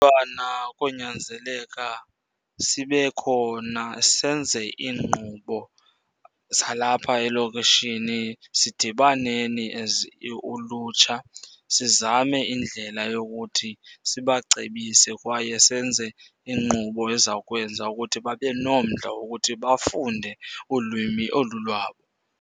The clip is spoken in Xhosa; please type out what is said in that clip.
Ubana konyanzeleka sibe khona senze iinkqubo zalapha elokishini. Sidibaneni as ulutsha sizame indlela yokuthi sibacebise kwaye senze iinkqubo eziza kwenza ukuthi babe nomdla wokuthi bafunde ulwimi olu lwabo.